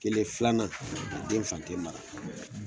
Kelen filanan a den fan te mara